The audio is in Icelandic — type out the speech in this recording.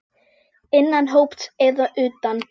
Innan hóps eða utan.